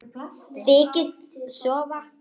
Þykist sofa.